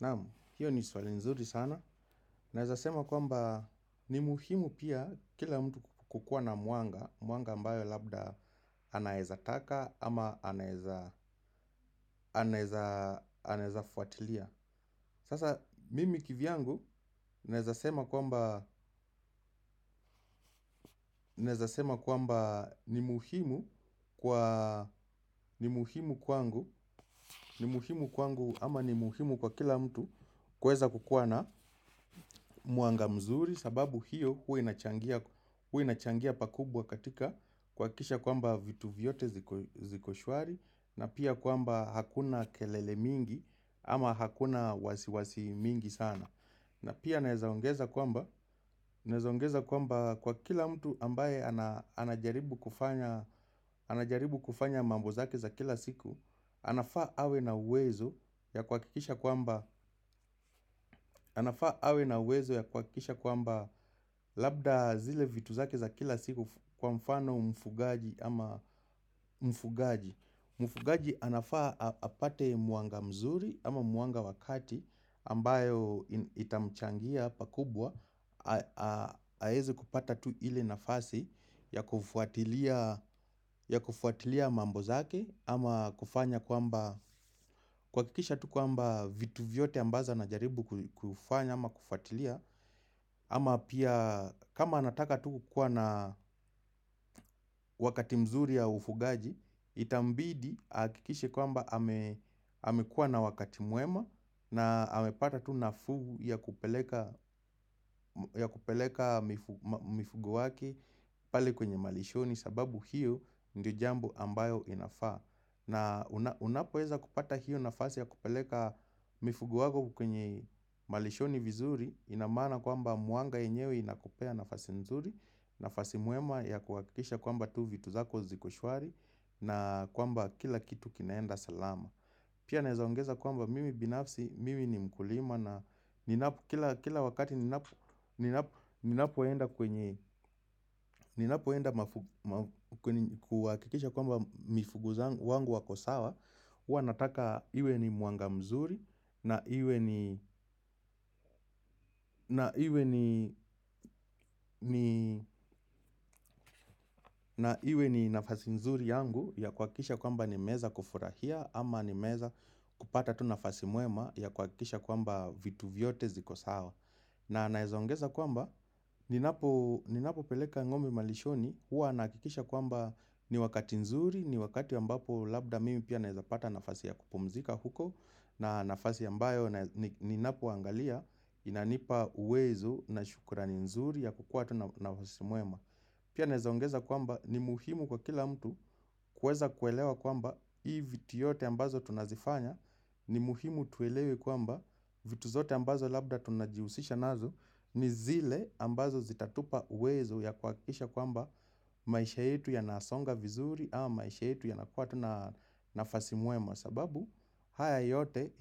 Naam, hiyo ni swali nzuri sana. Nezza sema kwamba ni muhimu pia kila mtu kukua na mwanga mwanga ambayo labda anaeza taka ama anaeza anaeza anaeza fuatilia. Sasa, mimi kivyangu naeza sema kwamba sema kwamba ni muhimu kwa ni muhimu kwangu. Ni muhimu kwangu ama ni muhimu kwa kila mtu kuweza kukua na muanga mzuri. Sababu hio hua inachangia pakubwa katika kuakisha kwamba vitu vyote ziko shwari na pia kwamba akuna kelele mingi ama hakuna wasi wasi mingi sana na pia naeza ongeza kwamba nezaongeza kwamba kwa kila mtu ambaye anajaribu kufanya anajaribu kufanya mambo zake za kila siku. Anafa awe na uwezo ya kwakikisha kwamba labda zile vitu zake za kila siku kwa mfano mfugaji ama mfugaji mfugaji anafaa apate muanga mzuri ama muanga wakati ambayo itamchangia pa kubwa aezi kupata tu ile nafasi ya kufuatilia ya kufuatilia mambo zake ama kufanya kwamba kwakikisha tu kwamba vitu vyote ambazo ana jaribu kufanya ama kufuatilia ama pia kama anataka tu kukua na wakati mzuri ya ufugaji itambidi aakikishe kwamba amekua na wakati muema na amepata tu na fugu ya kupeleka mifugu wake pali kwenye malishoni sababu hiyo ndiyo jambo ambayo inafaa. Na unapoweza kupata hiyo nafasi ya kupeleka mifugu wako kwenye malishoni vizuri inamaana kwamba muanga yenyewe inakupea nafasi nzuri nafasi muema ya kuhakisha kwamba tu vitu zako zikoshwari na kwamba kila kitu kinaenda salama. Pia naezongeza kwamba mimi binafsi, mimi ni mkulima na kila wakati ninapoenda kwenye, ninapo enda kwakikisha kwamba mifuguzangu wangu wako sawa ua nataka iwe ni muanga mzuri na iwe ni nafasi mzuri yangu ya kwakisha kwamba ni meza kufurahia ama ni meza kupata tu nafasi muema ya kwakisha kwamba vitu vyote ziko sawa. Na naezongeza kwamba, ninapo peleka ng'ombe malishoni, hua naakikisha kwamba ni wakati nzuri, ni wakati ambapo labda mimi pia naezapata nafasi ya kupumzika huko, na nafasi ambayo ninapo angalia inanipa uwezo na shukrani nzuri ya kukua tu nafasi muema. Pia nezaongeza kwamba ni muhimu kwa kila mtu kueza kuelewa kwamba hii viti yote ambazo tunazifanya ni muhimu tuelewe kwamba vitu zote ambazo labda tunajiusisha nazo ni zile ambazo zitatupa uwezo ya kwakisha kwamba maisha yetu yanasonga vizuri ama maisha yetu yanakua tu na nafasi muema. Sababu haya yote